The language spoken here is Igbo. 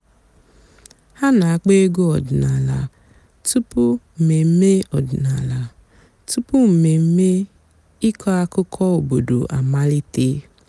há nà-àkpọ́ ègwú ọ̀dị́náàlà túpú m̀mèmè ọ̀dị́náàlà túpú m̀mèmè ị̀kọ́ àkụ́kọ̀ òbòdo àmàlíté.